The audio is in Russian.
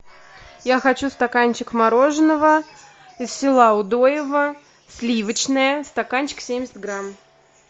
я хочу стаканчик мороженого из села удоево сливочное стаканчик семьдесят грамм